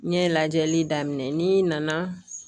N ɲɛ lajɛli daminɛ n'i nana